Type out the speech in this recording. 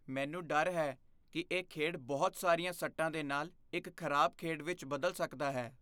ਮੈਨੂੰ ਡਰ ਹੈ ਕਿ ਇਹ ਖੇਡ ਬਹੁਤ ਸਾਰੀਆਂ ਸੱਟਾਂ ਦੇ ਨਾਲ ਇੱਕ ਖਰਾਬ ਖੇਡ ਵਿੱਚ ਬਦਲ ਸਕਦਾ ਹੈ।